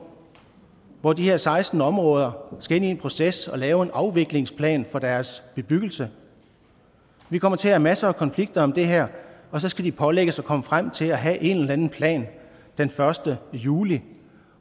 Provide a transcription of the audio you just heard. hvor de her seksten områder skal ind i en proces og lave en afviklingsplan for deres bebyggelse vi kommer til at have masser af konflikter om det her og så skal de pålægges at komme frem til at have en eller anden plan den første juli